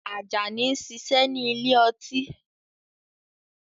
Ajani ń ṣiṣẹ́ ní ile-ọtí